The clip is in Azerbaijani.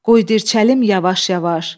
qoy dirçəlim yavaş-yavaş.